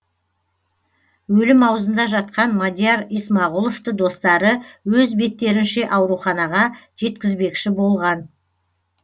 өлім аузында жатқан мадияр исмағұловты достары өз беттерінше ауруханаға жеткізбекші болған